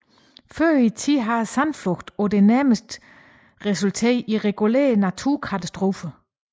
Men tidligere har sandflugten på det nærmeste resulteret i regulære naturkatastrofer